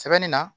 Sɛbɛnni na